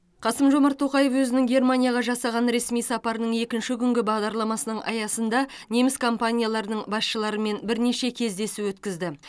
қасым жомарт тоқаев өзінің германияға жасаған ресми сапарының екінші күнгі бағдарламасының аясында неміс компанияларының басшыларымен бірнеше кездесу өткізді